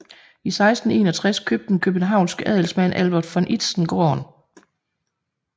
I 1661 købte den københavnske handelsmand Albert von Itzen gården